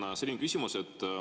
Mul on selline küsimus.